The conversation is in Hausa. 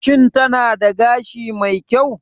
Shin tana da gashi mai kyau?